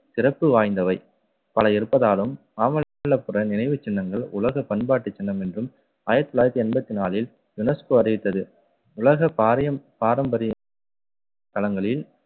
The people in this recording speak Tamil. சிறப்பு வாய்ந்தவை பல இருப்பதாலும் மாமல்லபுரம் நினைவுச் சின்னங்கள் உலக பண்பாட்டுச் சின்னம் என்றும், ஆயிரத்து தொள்ளாயிரத்து எண்பத்து நாளில் யுனெஸ்கோ அறிவித்தது. உலக பாரயம்~ பாரம்பரிய தளங்களில்